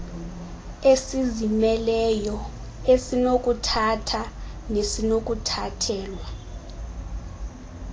esizimeleyo esinokuthatha nesinokuthathelwa